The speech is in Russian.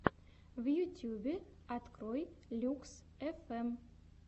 в ютьюбе открой люкс фм